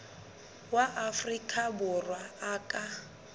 wa afrika borwa a ka